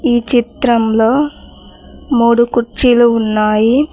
ఈ చిత్రంలో మూడు కుర్చీలు ఉన్నాయి.